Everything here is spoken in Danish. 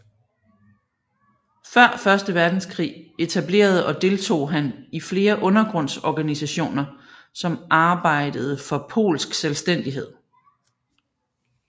Før første verdenskrig etablerede og deltog han i flere undergrundsorganisationer som arbejdede for polsk selvstændighed